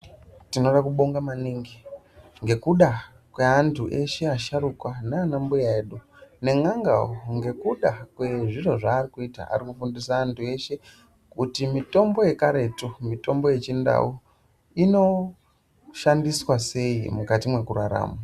Tinoda kubonga maningi ngekuda kweantu eshe asharukwa nanambuya edu nen'angao ngekuda kwezviro zvakuita arikufundisa antu eshe kuti mitombo yekaretsvo, mitombo yechindau inoshandiswa sei mukati mwekurarama.